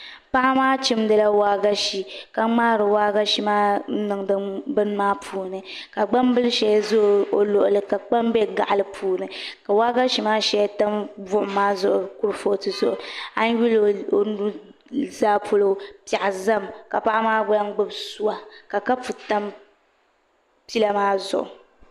Paɣa maa chimdila waagashe ka ŋmaari waagashe maa n niŋdi bin maa puuni ka gbambili shɛli ʒɛ o luɣuli ka kpam bɛ gaɣali puuni ka waagashe maa shɛli tam buɣum maa zuɣu kurifooti zuɣu a yi lihi o nuzaa polo piɛɣu ʒɛmi ka paɣa maa lahi gbubi suwa ka kapu tam pila maa zuɣu